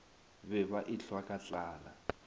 be ba ehlwa ka tlala